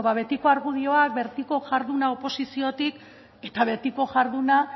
betiko argudioak betiko jarduna oposiziotik eta betiko jarduna